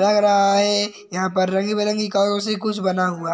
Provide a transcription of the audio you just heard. लग रहा है। यहाँं पर रंग-बिरंगे कागजों से कुछ बना हुआ है।